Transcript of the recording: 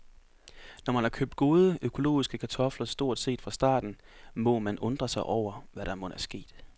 Når man har købt gode, økologiske kartofler stort set fra starten, må man undre sig over, hvad der mon er sket.